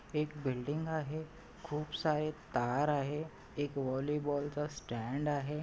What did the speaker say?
एक बिल्डिंग आहे. खूप सारे तार आहे. एक व्हॉली बॉलचा स्टँड आहे.